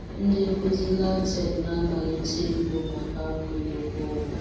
Ndị nkuzi LAUTECH na-amalite igbu maka akwụghị ụgwọ ọnwa.